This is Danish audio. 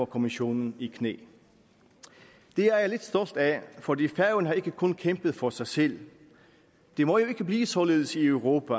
kommissionen i knæ det er jeg lidt stolt af fordi færøerne ikke kun har kæmpet for sig selv det må jo ikke blive således i europa